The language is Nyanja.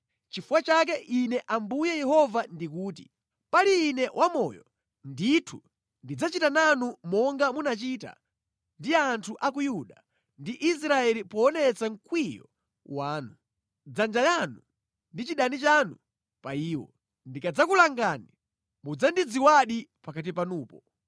Nʼchifukwa chake Ine Ambuye Yehova ndikuti: Pali Ine wamoyo, ndithu ndidzachita nanu monga munachita ndi anthu a ku Yuda ndi Israeli poonetsa mkwiyo wanu, nsanje yanu ndi chidani chanu pa iwo. Ndikadzakulangani mudzandidziwadi pakati panupo.